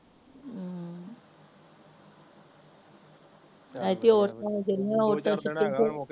ਐਦਕੀ ਦੋ ਚਾਰ ਦਿਨ ਹੇਗਾ ਏ ਵੀ ਮੋਕ